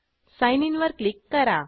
sign in वर click करा